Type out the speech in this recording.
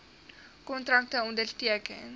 kontrakte onderteken